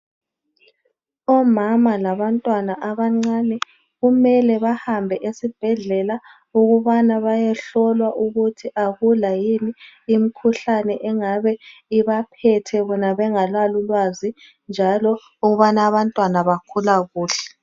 Umama labantwana abancane kumele bahambe esibhedlela, ukubana bayehlolwa ukuthi akula yini imikhuhlane engabe ibaphethe bona bengala ulwazi njalo abantwana bakhula kuhle.